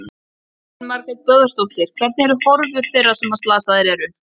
Elín Margrét Böðvarsdóttir: Hvernig eru horfur þeirra sem að slasaðir eru?